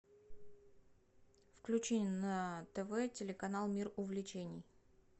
включи на тв телеканал мир увлечений